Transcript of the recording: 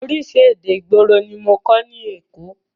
Oríṣi èdè ìgboro ní mọ kọ́ ní èkó.